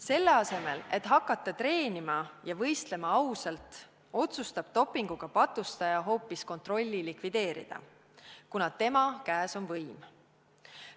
Selle asemel et hakata treenima ja võistlema ausalt, otsustab dopinguga patustaja hoopis kontrolli likvideerida, kuna tema käes on võim.